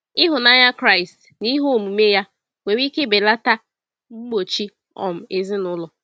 Ịhụnanya Kraịst n’ihe omume ya nwere ike belata mgbochi um ezinụlọ.